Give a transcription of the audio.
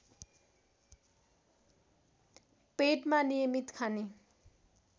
पेटमा नियमित खाने